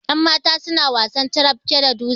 yanmata suna wasan carafke da dutse